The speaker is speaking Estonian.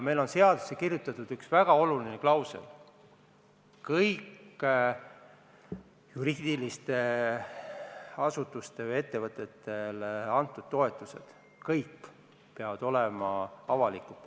Meil on seadusesse kirjutatud üks väga oluline klausel: kõik juriidilistele isikutele, sh ettevõtetele antud toetused peavad olema avalikud.